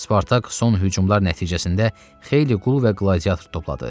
Spartak son hücumlar nəticəsində xeyli qul və qladiator topladı.